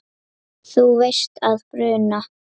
Þú veist að bruna